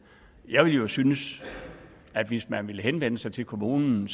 jeg jo synes at hvis man vil henvende sig til kommunen